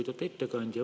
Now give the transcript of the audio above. Lugupeetud ettekandja!